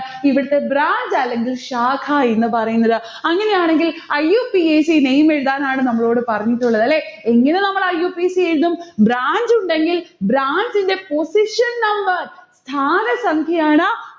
ഇവിടുത്ത branch അല്ലെങ്കിൽ ശാഖ എന്ന് പറയുന്നത്. അങ്ങനെയാണെങ്കിൽ IUPAC name എഴുതാനാണ് നമ്മളോട് പറഞ്ഞിട്ടുള്ളത് അല്ലേ? എങ്ങനെ നമ്മൾ IUPAC എഴുതും? branch ഉണ്ടെങ്കിൽ branch ന്റെ position number ധാര സംഖ്യയാണ്